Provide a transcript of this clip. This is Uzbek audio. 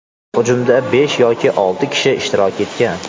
Hujumda besh yoki olti kishi ishtirok etgan.